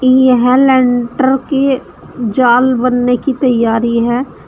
ये यहां लेंटर की जाल बनने की तैयारी है।